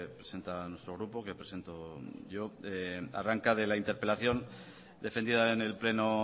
presenta nuestro grupo que presento yo arranca de la interpelación defendida en el pleno